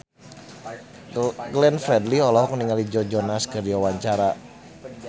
Glenn Fredly olohok ningali Joe Jonas keur diwawancara